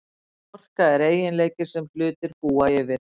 Orka er eiginleiki sem hlutir búa yfir.